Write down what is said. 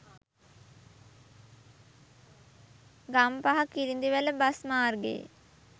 ගම්පහකිරිඳිවැලබස් මාර්ගයේ